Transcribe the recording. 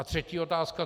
A třetí otázka.